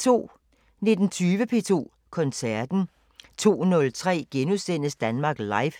19:20: P2 Koncerten 02:03: Danmark Live *